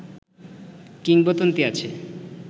কিংবদন্তী আছে